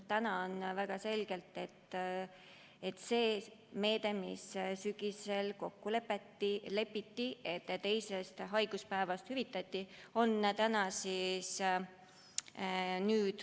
Praegu kehtib väga selgelt see meede, mis sügisel kokku lepiti, et teisest haiguspäevast hüvitatakse.